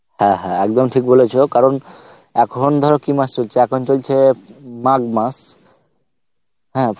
হ্যাঁ হ্যাঁ একদম ঠিক বলেছো কারণ এখন ধরো কি মাস চলছে এখন চলছে মাঘ মাস হ্যাঁ